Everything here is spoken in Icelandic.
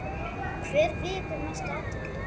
Hver vekur mesta athygli?